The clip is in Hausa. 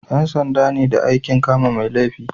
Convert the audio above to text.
Yan sanda ne da aikin kama mai laifi